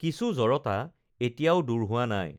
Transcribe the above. কিছু জড়তা এতিয়াও দূৰ হোৱা নাই